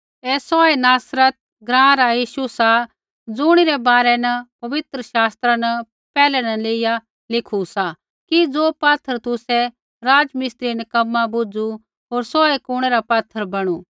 ऐ सौहै नासरत ग्राँ रा यीशु सा ज़ुणिरै बारै न पवित्र शास्त्रा न पैहलै न लेइया लिखू सा कि ज़ो पात्थर तुसै राज़मिस्त्रिऐ निक्कमा बुझ़ू होर सौहै कुणै रा पात्थर बैणू